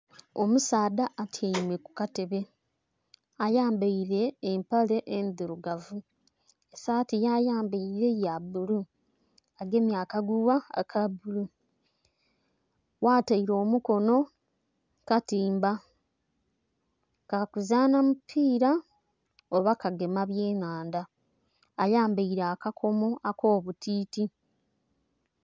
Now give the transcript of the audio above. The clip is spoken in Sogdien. Omusaadha atyaime ku Katebe ayambaire empale endhirugavu saati ya yambaire ya bbulu, agemye akagugha aka bulu. Ghataire omukono katimba ka kuzanha mupira oba kugema bya nhandha ayambaire aka komo ako butiti.